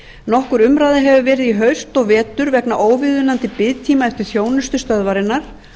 nokkur umræða hefur verið í haust og vetur vegna óviðunandi biðtíma eftir þjónustu stöðvarinnar